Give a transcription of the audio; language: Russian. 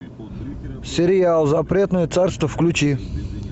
сериал запретное царство включи